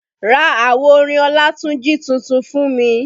Ra àwo orin Olatunji tuntun fún mi